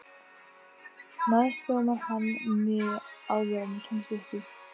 Næst gómar hann mig áður en ég kemst upp í.